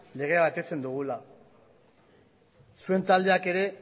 legea betetzen dugula zuen taldeak ere